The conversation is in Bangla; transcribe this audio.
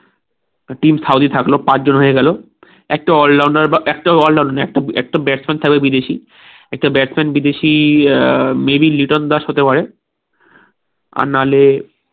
টিম সাউথি থাকলো পাঁচজন হয়ে গেলো একটা all rounder বা একটা all আদমি একটা একটা batsman থাকলো বিদেশি একটা batsman বিদেশি আহ maybe লিটন দাস হতে পারে আর নাহলে